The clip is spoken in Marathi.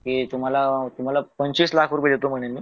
की तुम्हाला अह तुम्हाला पंचवीस लाख रुपये देतो म्हणे मी